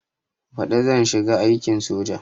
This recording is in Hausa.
Baɗi zan shiga aikin soja